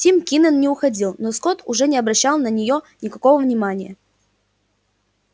тим кинен не уходил но скотт уже не обращал на неё никакого внимания